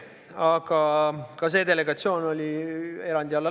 Aga ka see delegatsioon läks erandi alla.